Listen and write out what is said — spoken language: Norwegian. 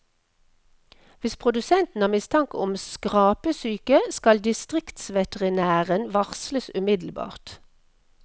Hvis produsenten har mistanke om skrapesyke, skal distriktsveterinæren varsles umiddelbart.